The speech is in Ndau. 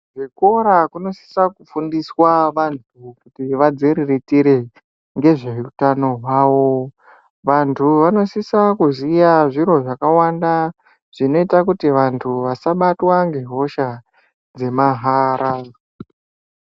Kuzvikora kunosise kufundiswa van kuti vantu vadziriritire ngezveutano hwavo vantu vanosise kuziya zviro zvakawanda zvinoita kuti vantu vasabatwa nehosha dzemahala.